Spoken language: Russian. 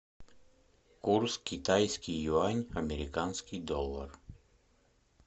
курс китайский юань американский доллар